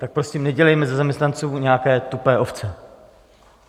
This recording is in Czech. Tak prosím nedělejme ze zaměstnanců nějaké tupé ovce.